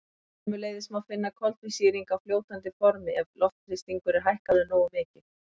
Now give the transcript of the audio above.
Sömuleiðis má finna koltvísýring á fljótandi formi ef loftþrýstingur er hækkaður nógu mikið.